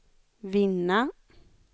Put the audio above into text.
vinna